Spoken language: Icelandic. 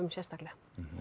sérstaklega